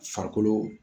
Farikolo